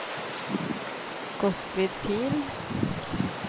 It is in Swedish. Gottfrid Pihl